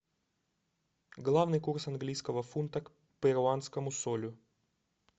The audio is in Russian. главный курс английского фунта к перуанскому солю